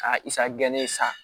Ka i sagon kelen san